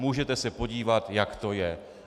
Můžete se podívat, jak to je.